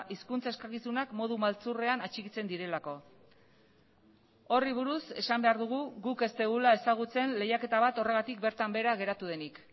hizkuntza eskakizunak modu maltzurrean atxikitzen direlako horri buruz esan behar dugu guk ez dugula ezagutzen lehiaketa bat horregatik bertan behera geratu denik